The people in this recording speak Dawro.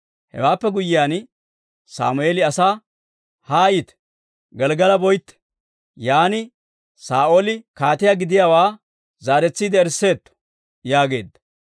Hewaappe guyyiyaan, Sammeeli asaa, «Haayite; Gelggala boytte; yaan Saa'ooli kaatiyaa gidiyaawaa zaaretsiide erisseetto» yaageedda.